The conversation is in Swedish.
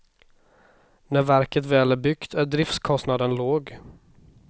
När verket väl är byggt är driftskostnaden låg.